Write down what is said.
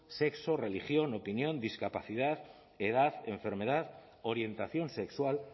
sexo religión opinión discapacidad edad enfermedad orientación sexual